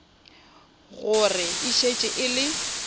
gore e šetše e le